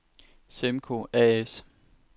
Semco A/S